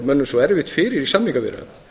mönnum svo erfitt fyrir í samningaviðræðunum